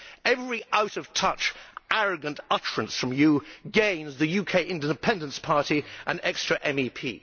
Every out of touch, arrogant utterance from you gains the UK Independence Party an extra MEP.